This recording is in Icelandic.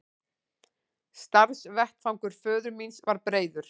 Starfsvettvangur föður míns var breiður.